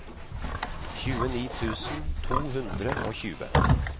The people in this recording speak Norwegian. tjueni tusen to hundre og tjue